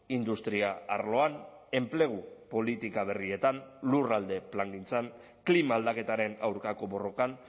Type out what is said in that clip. industria arloan enplegu politika berrietan lurralde plangintzan klima aldaketaren aurkako borrokan